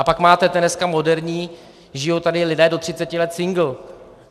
A pak máte dneska moderní, žijí tady lidé do 30 let singl.